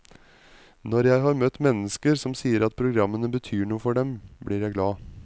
Når jeg har møtt mennesker som sier programmene betyr noe for dem, blir jeg glad.